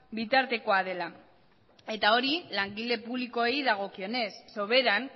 bitartekoa dela eta hori langile publikoei dagokienez soberan